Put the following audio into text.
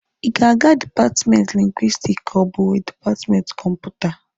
Ị ga-aga dipatmenti Lingwisitiki ka ọ bụ dipatmenti Kọmputa?